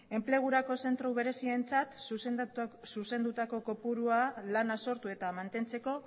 enplegurako zentro berezientzat zuzenduko kopurua lana sortu eta mantentzeko